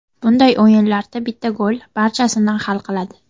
Bunday o‘yinlarda bitta gol barchasini hal qiladi.